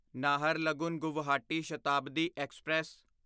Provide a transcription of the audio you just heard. Naharlagun Guwahati Shatabdi express